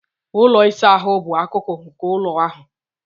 Ụlọ ịsa ahụ bụ akụkụ nke ụlọ ahụ